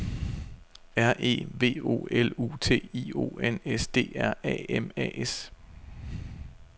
R E V O L U T I O N S D R A M A S